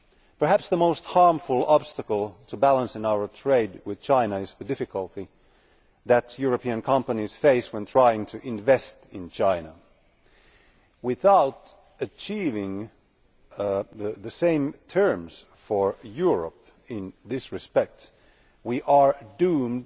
Perhaps the most harmful obstacle to balancing our trade with China is the difficulty that European companies face when trying to invest in China. Without achieving the same terms for Europe in this respect, we are doomed